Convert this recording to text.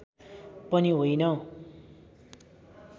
पनि होइन